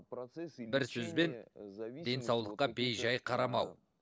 бір сөзбен денсаулыққа бей жай қарамау